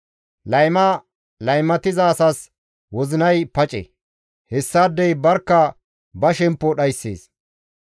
Layma laymatiza asas wozinay pace; hessaadey barkka ba shemppo dhayssees.